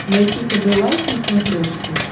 найти хд лайф на смотрешке